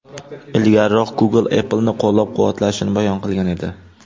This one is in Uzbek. Ilgariroq Google Apple’ni qo‘llab-quvvatlashini bayon qilgan edi .